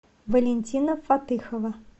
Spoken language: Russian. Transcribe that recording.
валентина фатыхова